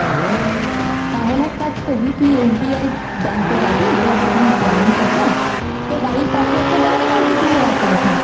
তাহলে এক কাজ করবি, তুই SBI bank এ যাবি। তোর যেখানে branch আছে তোর বাড়ির পাশেই আছে bank নাকি দূরে আছে কোথাও?